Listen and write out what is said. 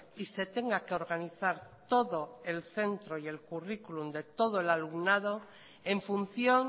y se tenga que organizar todo el centro y el currículum de todo el alumnado en función